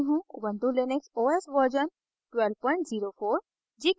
ubuntu Linux os version 1204